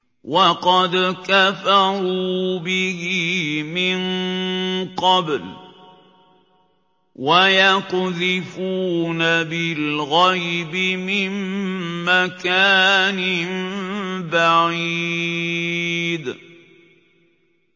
وَقَدْ كَفَرُوا بِهِ مِن قَبْلُ ۖ وَيَقْذِفُونَ بِالْغَيْبِ مِن مَّكَانٍ بَعِيدٍ